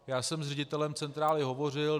Já jsem s ředitelem centrály hovořil.